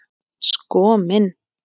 Sko minn!